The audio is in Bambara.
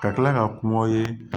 Ka tila ka kuma aw ye